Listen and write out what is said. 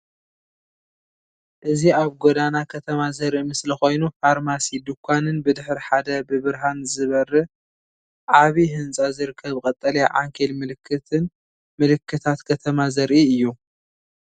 እዚ ኣብ ጎደና ከተማ ዘርኢ ምስሊ ኮይኑ፡ ፋርማሲ፡ ድኳንን ብድሕሪ ሓደ ብብርሃን ዝበርህ ዓቢ ህንጻ ዝርከብ ቀጠልያ ዓንኬል ምልክትን ምልክታት ከተማ ዘርኢ እዩ።